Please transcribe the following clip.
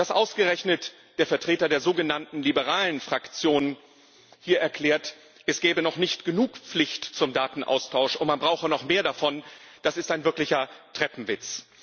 Dass ausgerechnet der Vertreter der sogenannten liberalen Fraktion hier erklärt, es gebe noch nicht genug Pflicht zum Datenaustausch und man brauche noch mehr davon, das ist ein wirklicher Treppenwitz.